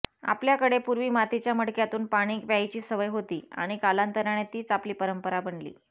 आपल्याकडे पूर्वी मातीच्या मडक्यातून पाणी प्यायची सवय होती आणि कालांतराने तीच आपली परंपरा बनली